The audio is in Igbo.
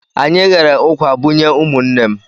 Anyị ghere ụkwà bunye ụmụnne m.